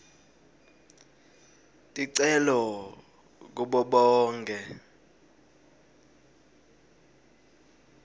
ticelo kubo bonkhe